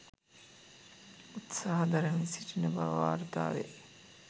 උත්සාහ දරමින් සිටින බව වාර්තා වේ.